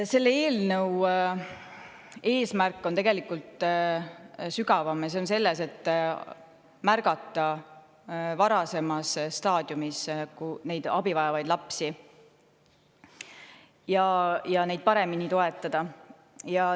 Selle eelnõu eesmärk on tegelikult sügavam: märgata abivajavaid lapsi varasemas staadiumis ja neid paremini toetada.